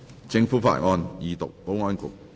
政府法案：二讀。